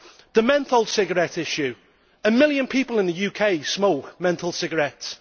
As regards the menthol cigarettes issue, a million people in the UK smoke menthol cigarettes.